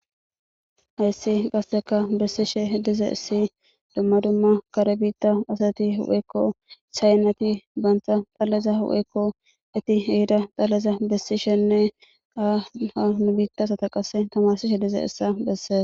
hayssi qasteka bessishe dizayssi dumma dumma kare biitta asati huphekko shaynati bantha xalleza hupheykko eti heida xalleza bessishenne aaha nubiittasata qasse tamarsishe dize essa besses